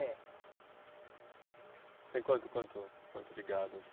É. Você tem quanto quanto quanto de gado aqui?